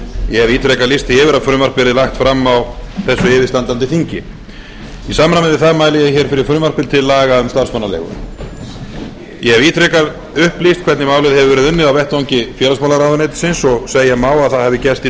ég hef ítrekað lýst því yfir að frumvarp yrði lagt fram á þessu yfirstandandi þingi í samræmi við það mæli ég fyrir frumvarpi til laga um um starfsmannaleigur ég hef ítrekað upplýst hvernig málið hefur verið unnið á vettvangi félagsmálaráðuneytisins og segja má að það hafi gerst í